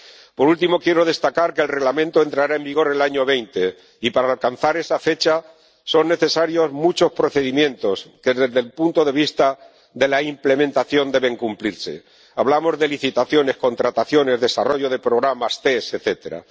Por último, quiero destacar que el Reglamento entrará en vigor en 2020 y, para alcanzar esa fecha, son necesarios muchos procedimientos que desde el punto de vista de la implementación deben cumplirse —hablamos de licitaciones, contrataciones, desarrollo de programas, tests, etcétera—.